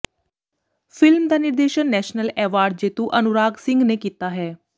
film ਦਾ ਨਿਰਦੇਸ਼ਨ national award ਜੇਤੂ ਅਨੁਰਾਗ ਸਿੰਘ ਨੇ ਕੀਤਾ ਹੈ